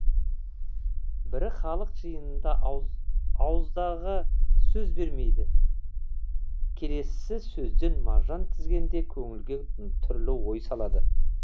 бірі халық жиынында ауыздағы сөз бермейді келесісі сөзден маржан тізгенде көңілге түрлі ой салады